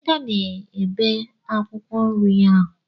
Adaeze na-ebe akwụkwọ nri ahụ.